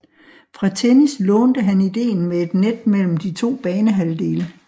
Fra tennis lånte han idéen med et net mellem de to banehalvdele